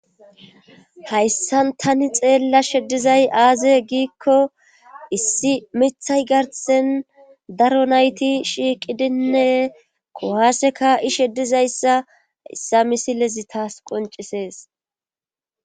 Hayssan tani xeella sheddizay aaze giikko issi mithay garsen daro nayti shiiqidinne kohaaseka ishe dizayssa issa misilezi taas qoncisees